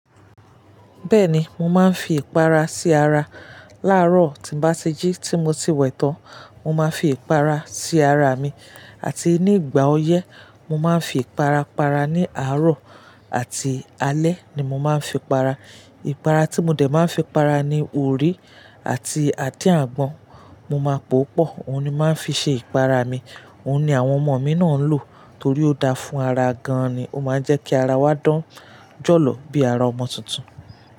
Bẹ́ẹ̀ni, mo máa ń fi ìpara sí ara. Láàárọ̀, tí bá ti jí tí mo ti wẹ̀ tán, mo máa fi ìpara sí ara mi àti ní ìgbà ọyẹ́, mo máa ń fi ìpara para ní àárọ̀ àti alẹ́ ni mo máa ń fi para. Ìpara tí mo dè máa ń fi para ni orí àti adin àgbọn. Mo máa pò ó pọ̀, òun ni má ń fi ṣe ìpara mi. Òun ni àwọn ọmọ mi náà ń lò torí ó da fún ara gan an ni. Ó máa ń jẹ́ kí ara wa dán jọ́lọ̀ bí ara ọmọ tuntun.